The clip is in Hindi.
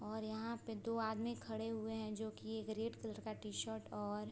और यहाँ पे दो आदमी खड़े हुए है जो कि एक रेड कलर का टी-शर्ट और --